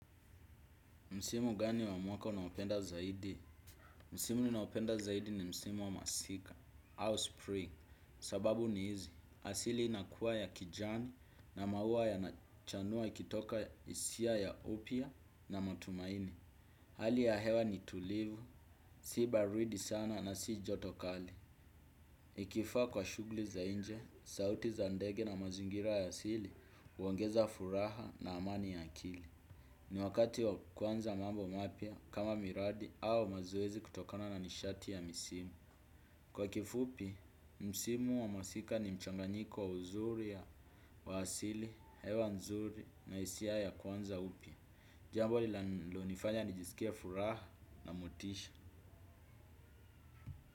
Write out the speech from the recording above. Msimu gani wa mwaka unaopenda zaidi? Msimu ninaopenda zaidi ni msimu wa masika. Au spring, sababu ni hizi. Asili inakuwa ya kijani na maua yanachanua ikitoka hisia ya upya na matumaini. Hali ya hewa ni tulivu, si baridi sana na si joto kali. Ikifaa kwa shughuli za nje, sauti za ndege na mazingira ya asili, huongeza furaha na amani ya akili. Ni wakati wa kuanza mambo mapya kama miradi au mazoezi kutokana na nishati ya misimu. Kwa kifupi, misimu wa masika ni mchanganyiko wa uzuri wa asili, hewa nzuri na hisia ya kuanza upya. Jambo linalonifanya nijisikie furaha na motisha.